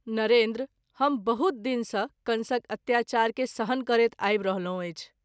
नरेंद्र ! हम बहुत दिन सँ कंसक अत्याचार के सहन करैत आबि रहलहुँ अछि।